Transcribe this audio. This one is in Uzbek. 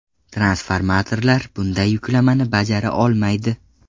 Transformatorlar bunday yuklamani bajara olmaydi.